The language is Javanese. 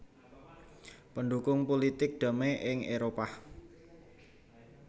Pendhukung pulitik damai ing Éropah